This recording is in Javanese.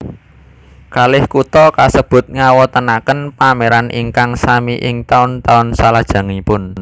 Kalih kutha kasebut ngawontenaken pamèran ingkang sami ing taun taun salajengipun